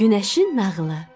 Güneşin nağılı.